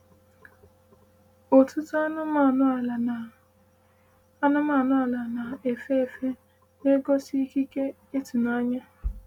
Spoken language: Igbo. “Ụtụtụ anụmanụ ala na anụmanụ na-efe efe na-egosi ikike ịtụnanya.”